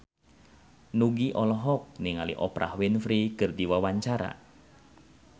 Nugie olohok ningali Oprah Winfrey keur diwawancara